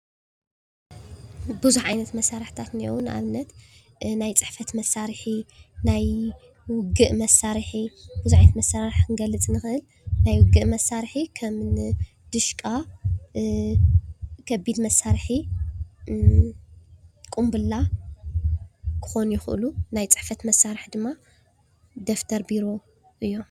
ቡዙሕ ዓይነት መሳርሒታት እኒአዉ። ንኣብነት ናይ ፅሕፈት መሳርሒ ፣ናይ ዉግእ መሳርሒ፣ ቡዙሕ ዓይነት መሳርሒ ክንገልፅ ንክእል ።ናይ ዉግእ መሳርሒ ከምኒ ዲሽቃ፣ ከቢድ መሳርሒ ፣ቁምብላ ክኮኑ ይክእሉ፡፡ ናይ ፅሕፈት መሳርሒታት ድማ ደፍተር ፣ቢሮ እዮም፡፡